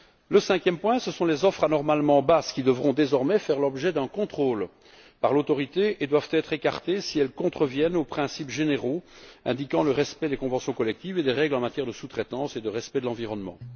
Le cinquième point, ce sont les offres anormalement basses, qui devront désormais faire l'objet d'un contrôle par l'autorité et être écartées si elles contreviennent aux principes généraux relatifs au respect des conventions collectives et des règles en matière de sous traitance et de respect de l'environnement.